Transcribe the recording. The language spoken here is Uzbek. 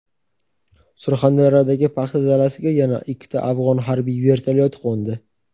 Surxondaryodagi paxta dalasiga yana ikkita afg‘on harbiy vertolyoti qo‘ndi.